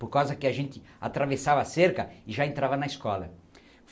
Por causa que a gente atravessava a cerca e já entrava na escola.